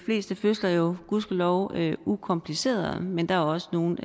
fleste fødsler jo gudskelov ukompliceret men der er også nogle